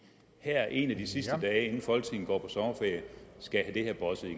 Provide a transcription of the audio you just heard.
her en af de sidste dage inden folketinget går på sommerferie skal